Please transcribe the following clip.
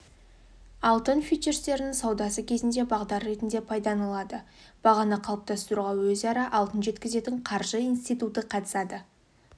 алтын фьючерстерінің саудасы кезінде бағдар ретінде пайдаланылады бағаны қалыптастыруға өзара алтын жеткізетін қаржы институты қатысады